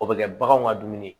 O bɛ kɛ baganw ka dumuni ye